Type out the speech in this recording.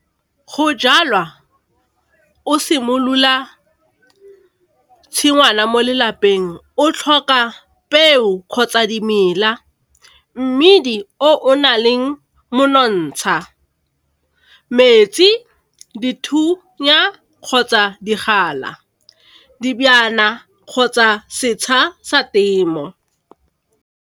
Go jalwa o simolola tshingwana mo lelapeng, o tlhoka peo kgotsa dimela, mmidi o o na leng monontsha, metsi, dithunya kgotsa digala, dibjana kgotsa setšha sa temo.